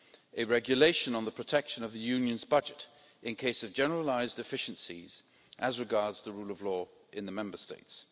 a regulation on protecting the Union's budget in the event of generalised deficiencies as regards the rule of law in the Member States.